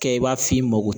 Kɛ i b'a f'i ma ko